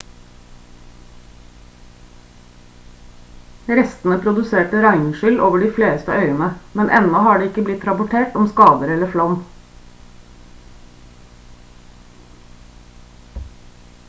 restene produserte regnskyll over de fleste øyene men ennå har det ikke blitt rapportert om skader eller flom